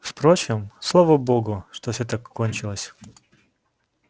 впрочем слава богу что всё так кончилось